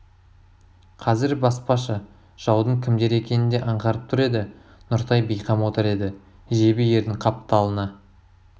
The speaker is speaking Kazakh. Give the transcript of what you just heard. қазір баспашы жаудың кімдер екенін де аңғарып тұр еді нұртай бейқам отыр еді жебе ердің қапталына